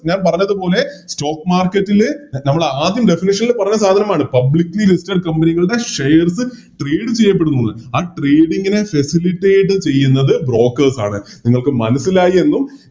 ഞാൻ പറഞ്ഞതുപോലെ Stock market ല് നമ്മളാദ്യം Definition ല് പറഞ്ഞ സാധനമാണ് Publicly listed company കളുടെ Shares tarde ചെയ്യപ്പെടുന്നു ആ Trading നെ Specific ചെയ്യുന്നത് Brokers ആണ് നിങ്ങൾക്ക് മനസ്സിലായി എന്നും